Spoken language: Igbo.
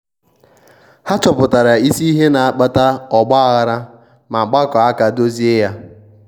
ndi otu ahụ kwetara ilekwasị anya n'ihe ngwọta karia inye ụta.